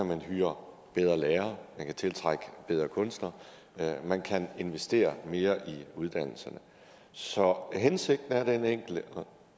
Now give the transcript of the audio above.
man hyre bedre lærere man kan tiltrække bedre kunstnere man kan investere mere i uddannelserne så hensigten er den enkle